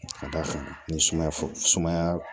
Ka d'a kan ni sumaya sumaya